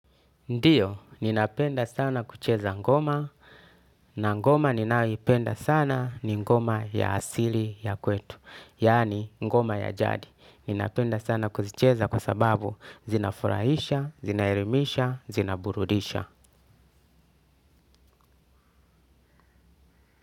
Ndiyo, ninapenda sana kucheza ngoma, na ngoma ninayoipenda sana ni ngoma ya asili ya kwetu, yani ngoma ya jadi. Ninapenda sana kucheza kwa sababu zinafurahisha, zinaerimisha, zinaburudisha.